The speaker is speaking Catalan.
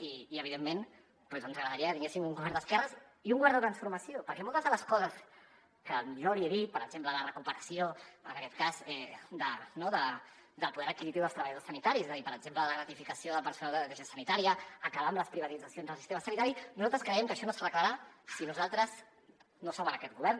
i evidentment doncs ens agradaria que tinguéssim un govern d’esquerres i un govern de transformació perquè moltes de les coses que jo li he dit per exemple la recuperació en aquest cas no del poder adquisitiu dels treballadors sanitaris i per exemple la gratificació del personal de neteja sanitària acabar amb les privatitzacions del sistema sanitari nosaltres creiem que això no s’arreglarà si nosaltres no som en aquest govern